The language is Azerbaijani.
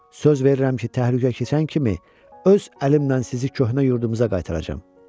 Söz verirəm ki, təhlükə keçən kimi öz əlimlə sizi köhnə yurdumuza qaytaracam.